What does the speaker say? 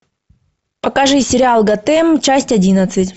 покажи сериал готэм часть одиннадцать